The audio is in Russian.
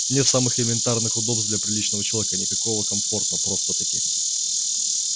нет самых элементарных удобств для приличного человека никакого комфорта просто-таки